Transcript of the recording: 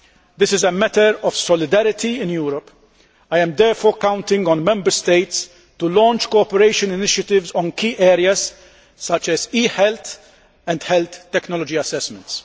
This is a matter of solidarity in Europe. I am therefore counting on the Member States to launch cooperation initiatives in key areas such as e health and health technology assessments.